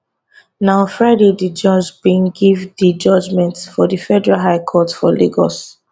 na on friday di judge bin give di judgment for di federal high court for lagos